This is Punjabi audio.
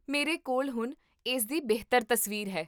ਮੇਰੇ ਕੋਲ ਹੁਣ ਇਸਦੀ ਬਿਹਤਰ ਤਸਵੀਰ ਹੈ